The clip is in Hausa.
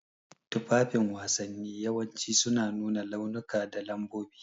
Tufafin wasanni yawanci suna nuna launuka da lambobi.